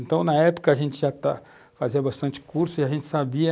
Então, na época, a gente já estava, fazia bastante curso e a gente sabia